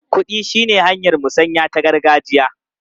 Kuɗi shine hanyar musanya ta gargajiya.